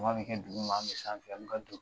bɛ kɛ duguma an bɛ sanfɛ an bɛ ka don